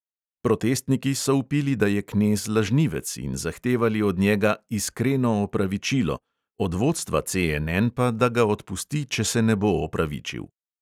Protestniki so vpili, da je knez lažnivec, in zahtevali od njega "iskreno opravičilo", od vodstva CNN pa, da ga odpusti, če se ne bo opravičil.